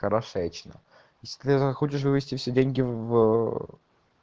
хорошечно если захочешь вывести все деньги в